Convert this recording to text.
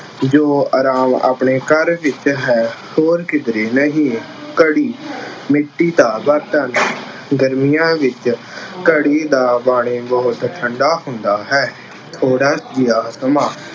ਜੋ ਆਰਾਮ ਆਪਣੇ ਘਰ ਵਿੱਚ ਹੈ, ਹੋਰ ਕਿਧਰੇ ਨਹੀਂ। ਘੜੀ- ਮਿੱਟੀ ਦਾ ਬਰਤਨ- ਗਰਮੀਆਂ ਵਿੱਚ ਘੜੇ ਦਾ ਪਾਣੀ ਬਹੁਤ ਠੰਢਾ ਹੁੰਦਾ ਹੇ। ਥੋੜ੍ਹਾ ਜਿਹਾ ਸਮਾਂ-